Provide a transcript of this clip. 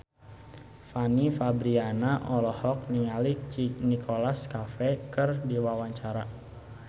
Fanny Fabriana olohok ningali Nicholas Cafe keur diwawancara